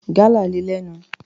Gálà le lẹ́nu.